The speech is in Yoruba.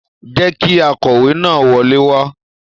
Jẹ kí akọwe náà wọlé wà!